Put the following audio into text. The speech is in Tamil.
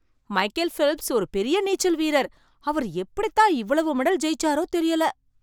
மைக்கேல் ஃபெல்ப்ஸ் ஒரு பெரிய நீச்சல் வீரர். அவர் எப்படி தான் இவ்வளவு மெடல் ஜெயிச்சாரோ தெரியல ?